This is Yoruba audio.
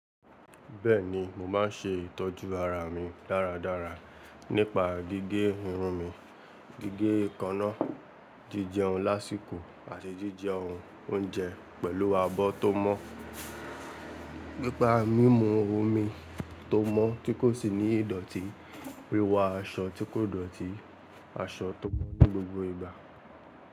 Bẹ́ẹ̀ni, mo máa ń ṣe ìtọ́jú ara mi dáradára nípa gígé irun mi, gígé ikanna, jíjẹun lásìkò àti jíjẹ ounje pẹ̀lú abọ́ tó mọ́, pípa mímu omi tó mọ́ tí kò sì ní ìdọ̀tí, wiwọ aṣọ tí kò dọ̀tí, aṣọ tó mọ́ ní gbogbo ìgbà.